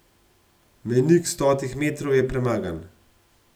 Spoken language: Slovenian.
Mejnik stotih metrov je premagan.